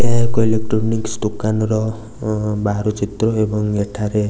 ଏହା ଏକ ଇଲେକ୍ଟ୍ରୋନିକ୍ସ ଦୋକାନ ର ବାହାରୁ ଚିତ୍ର ଏବଂ ଏଠାରେ --